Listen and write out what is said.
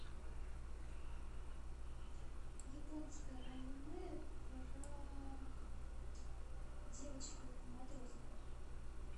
японское аниме про девочек в матросках